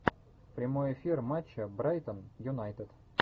прямой эфир матча брайтон юнайтед